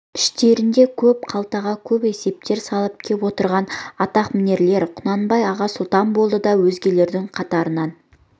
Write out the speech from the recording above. іштерінде көп қалтаға көп есептер салып кеп отырған атқамінерлер құнанбай аға сұлтан болды да өзгелерінің қатарынан